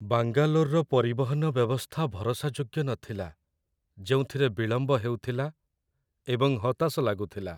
ବାଙ୍ଗାଲୋର୍‌ର ପରିବହନ ବ୍ୟବସ୍ଥା ଭରସାଯୋଗ୍ୟ ନଥିଲା, ଯେଉଁଥିରେ ବିଳମ୍ବ ହେଉଥିଲା ଏବଂ ହତାଶ ଲାଗୁଥିଲା।